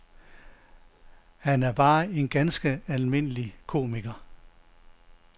Han er bare en ganske almindelig komiker.